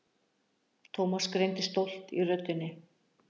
Thomas greindi stolt í röddinni.